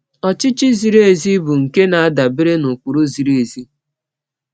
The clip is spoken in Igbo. Ọchịchị ziri ezi bụ nke na-adabere n’ụkpụrụ ziri ezi.